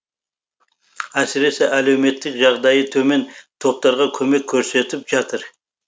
әсіресе әлеуметтік жағдайы төмен топтарға көмек көрсетіп жатыр